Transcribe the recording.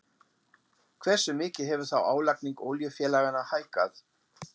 Hversu mikið hefur þá álagning olíufélaganna hækkað?